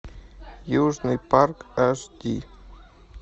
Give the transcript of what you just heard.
южный парк аш ди